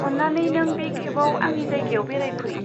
अन्नानै नों बे खेबआव आंनि जायगायाव बेरायफै।